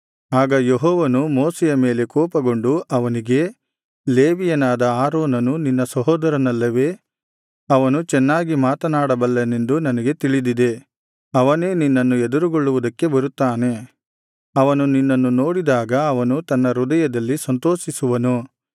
ಆಗ ಯೆಹೋವನು ಮೋಶೆಯ ಮೇಲೆ ಕೋಪಗೊಂಡು ಅವನಿಗೆ ಲೇವಿಯನಾದ ಆರೋನನು ನಿನ್ನ ಸಹೋದರನಲ್ಲವೇ ಅವನು ಚೆನ್ನಾಗಿ ಮಾತನಾಡಬಲ್ಲವನೆಂದು ನನಗೆ ತಿಳಿದಿದೆ ಅವನೇ ನಿನ್ನನ್ನು ಎದುರುಗೊಳ್ಳುವುದಕ್ಕೆ ಬರುತ್ತಾನೆ ಅವನು ನಿನ್ನನ್ನು ನೋಡಿದಾಗ ಅವನು ತನ್ನ ಹೃದಯದಲ್ಲಿ ಸಂತೋಷಿಸುವನು